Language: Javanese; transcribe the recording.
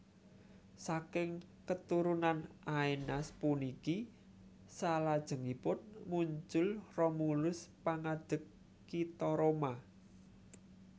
Saking keturunan Aenas puniki salajengipun muncul Romulus pangadeg kitha Roma